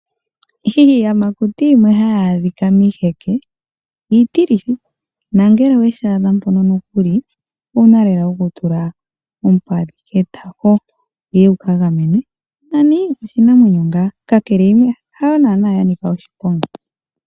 Iiyamakuti yimwe hayi adhika miiheke iitilithi nongele owe shi adha mpono nokuli owu na lela okutula ompadhi ketako wu ye wu ka gamenwe, nani oshinamwenyo ngaa. Kakele hayo naanaa ya nika oshiponga.